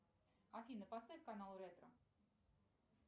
афина поставь канал ретро